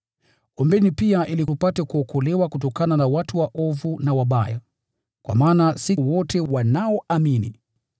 Ombeni pia ili tupate kuokolewa kutokana na watu waovu na wabaya, kwa maana si wote wanaoamini.